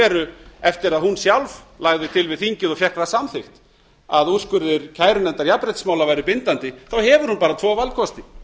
veru eftir að hún sjálf lagði til við þingið og fékk það samþykkt að úrskurðir kærunefndar jafnréttismála væru bindandi þá hefur hún bara tvo valkosti